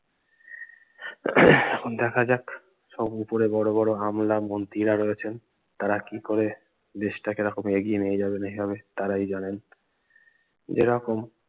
এখন দেখা যাক সব উপরে বড় বড় আমলা মন্ত্রীরা রয়েছেন তারা কি করে দেশ টাকে এরকম এগিয়ে নিয়ে যাবে এইভাবে, তারাই জানেন যেরকম